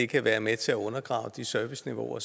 kan være med til at undergrave de serviceniveauer